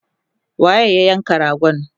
waye ya yanka ragon?